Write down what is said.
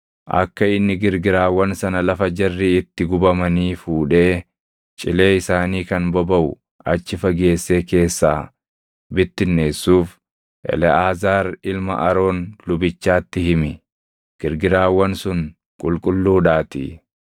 “Akka inni girgiraawwan sana lafa jarri itti gubamanii fuudhee cilee isaanii kan bobaʼu achi fageessee keessaa bittinneessuuf Eleʼaazaar ilma Aroon lubichaatti himi; girgiraawwan sun qulqulluudhaatii.